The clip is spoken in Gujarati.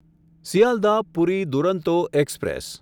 સિયાલદાહ પૂરી દુરંતો એક્સપ્રેસ